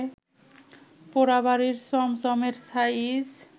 পোড়াবাড়ির চমচমএর সাইজ